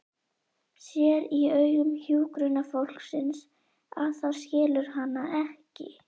Sér í augum hjúkrunarfólksins að það skilur hana ekki.